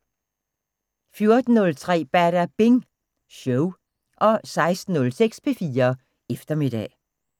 14:03: Badabing Show 16:06: P4 Eftermiddag